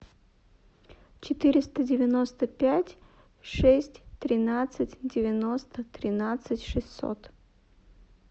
четыреста девяносто пять шесть тринадцать девяносто тринадцать шестьсот